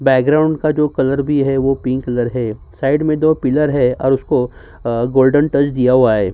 Background का colour भी जो है वह पिंक कलर है। साइड में जो पिलर है उसको गोल्डन टच दिया हुआ है।